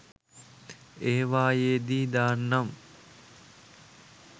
ඒවායේ දී දාන්නම්